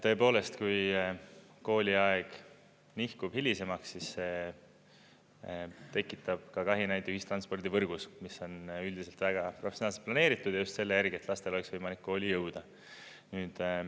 Tõepoolest, kui kooliaeg nihkub hilisemaks, siis see tekitab kahinaid ühistranspordivõrgus, mis on üldiselt väga professionaalselt planeeritud ja just selle järgi, et lastel oleks võimalik kooli jõuda.